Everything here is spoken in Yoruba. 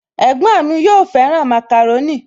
Ẹ̀gbọ́n mi yóò fẹ́ràn màkàrónì